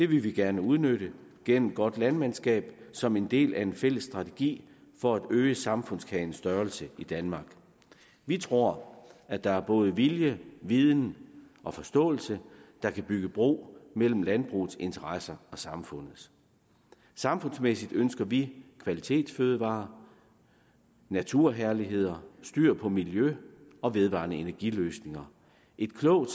vi gerne udnytte gennem godt landmandskab som en del af en fælles strategi for at øge samfundskagens størrelse i danmark vi tror at der både er vilje viden og forståelse der kan bygge bro mellem landbrugets interesser og samfundets samfundsmæssigt ønsker vi kvalitetsfødevarer naturherligheder styr på miljøet og vedvarende energiløsninger et klogt